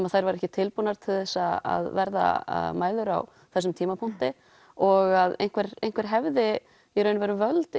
að þær væru ekki tilbúnar til þess að verða mæður á þessum tímapunkti og að einhver einhver hefði í raun völd